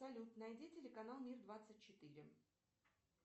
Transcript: салют найди телеканал мир двадцать четыре